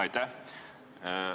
Aitäh!